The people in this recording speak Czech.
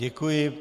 Děkuji.